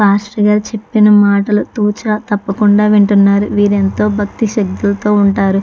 Pastor గారు చెప్పిన మాటలు చాలా సరదాగా వింటున్నారు. మీరు ఎంత భక్తి శ్రద్ధలతో ఉంటారు.